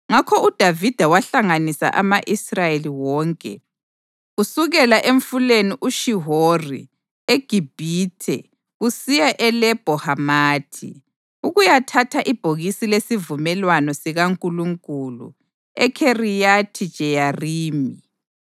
Ngakho uDavida wahlanganisa ama-Israyeli wonke, kusukela eMfuleni uShihori eGibhithe kusiya eLebho Hamathi, ukuyathatha ibhokisi lesivumelwano sikaNkulunkulu eKhiriyathi-Jeyarimi.